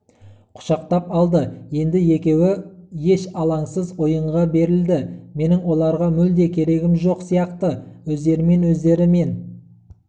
құшақтап алды енді екеуі еш алаңсыз ойынға берілді менің оларға мүлде керегім жоқ сияқты өздерімен-өздері мен